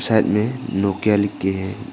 Side में Nokia लिख के है।